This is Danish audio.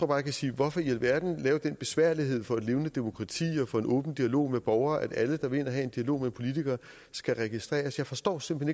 kan sige hvorfor i alverden lave den besværlighed for et levende demokrati og for en åben dialog med borgere at alle der vil ind og have en dialog med politikere skal registreres jeg forstår simpelt